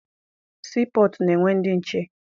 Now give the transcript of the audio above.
Sii pọtụ na-enwe ndị nche.